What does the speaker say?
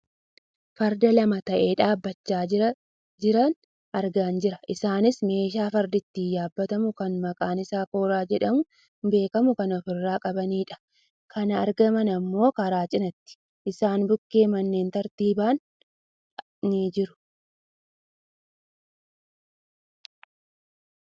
Farda lama ta'ee dhaabbachaa jiran argaa jirra. Isaanis meeshaa fardi ittiin yaabbatamu kan maqaan isaa kooraa jedhamuun beekkamu kan of irraa qabanidha. Kan argaman ammoo karaa cinaatti. Isaan bukkee manneen tartiibaan ni jiru.